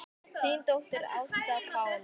Þín dóttir, Ásta Pála.